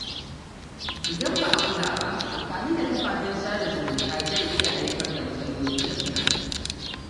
Idan ba a kula ba, amfani da kafafen sada zumunta zai iya haifar da matsaloli na tunani.